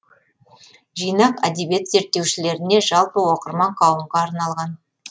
жинақ әдебиет зерттеушілеріне жалпы оқырман қауымға арналған